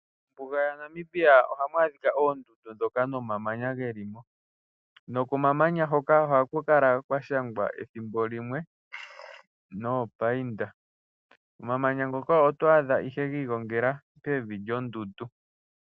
Mombuga YaNamibia ohamu adhika oondundu dhoka nomamanya geli mo. Nokomamanya hoka ohaku kala kwa shangwa ethimbo limwe noopainda. omamanya ngoka oto adha ihe gi igongela pevi lyondundu.